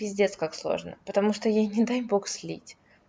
пиздец как сложно потому что ей не дай бог слить